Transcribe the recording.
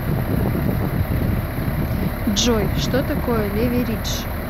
джой что такое леверидж